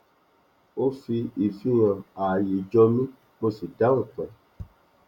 ó fi ìfihàn àayè jọ mi mo sì dáhùn pẹ